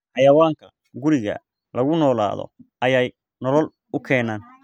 Xayawaanka guriga lagu noolaado ayay nolol u keenaan.